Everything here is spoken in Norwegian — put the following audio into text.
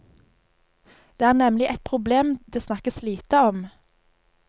Det er nemlig et problem det snakkes lite om.